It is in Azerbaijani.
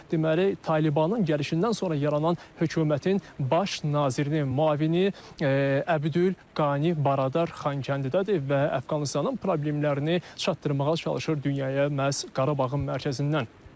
Deməli, Talibanın gəlişindən sonra yaranan hökumətin baş nazirinin müavini Əbdülqani Baradar Xankəndidədir və Əfqanıstanın problemlərini çatdırmağa çalışır dünyaya məhz Qarabağın mərkəzindən.